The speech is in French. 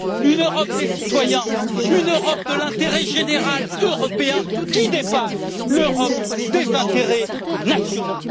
une Europe des citoyens, une Europe de l'intérêt général européen qui dépasse l'Europe des intérêts nationaux.